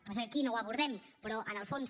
passa que aquí no ho abordem però en el fons